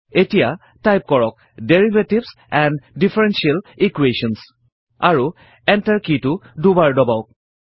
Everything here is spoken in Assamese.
এতিয়া টাইপ কৰক ডেৰিভেটিভছ এণ্ড ডিফাৰেনশিয়েল Equations আৰু Enter কি টো দুবাৰ টাইপ কৰক